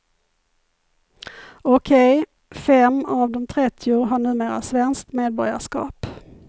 Okej, fem av de trettio har numera svenskt medborgarskap.